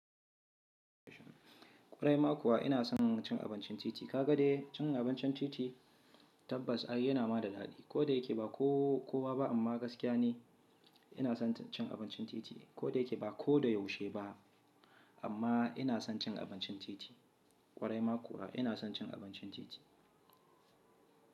Kwarai ma kuwa ina son cin abincin titi. Ka ga dai cin abincin titi tabbas ake yana ma da daɗi. Ko da yake ba kowa ba amma gaskiya ne ina son cin abincin titi. Ko da yake ba koda yaushe ba amma ina son cin abincin titi. Kwarai ma kuwa ina son cin abincin titi.